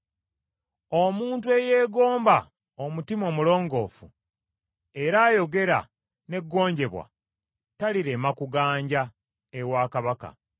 Omuntu eyeegomba omutima omulongoofu era ayogera n’eggonjebwa, talirema kuganja ewa kabaka.